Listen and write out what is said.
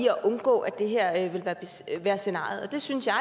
at undgå at det her vil være scenariet og det synes jeg